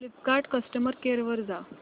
Flipkart customer care वर जा